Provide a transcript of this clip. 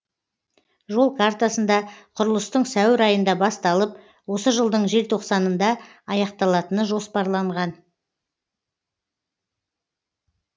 жол картасында құрылыстың сәуір айында басталып осы жылдың желтоқсанында аяқталатыны жоспарланған